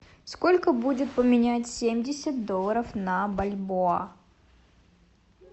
сколько будет поменять семьдесят долларов на бальбоа